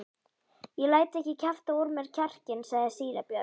Ég læt ekki kjafta úr mér kjarkinn, sagði síra Björn.